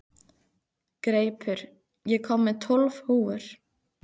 Greipur, ég kom með tólf húfur!